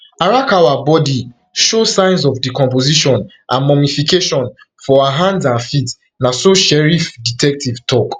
arakawa body show signs of decomposition and mummification for her hands and feet na so sheriff detective tok